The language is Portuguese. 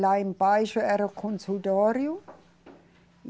Lá embaixo era o consultório.